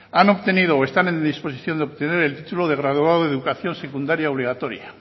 han obtenido o están a disposición de obtener el título de graduado en educación secundaria obligatoria